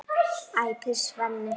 æpir Svenni.